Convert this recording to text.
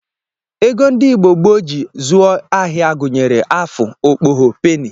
Ego ndị Igbo gboo ji zụọ ahịa gụnyere afụ, okpgho, peni, dgz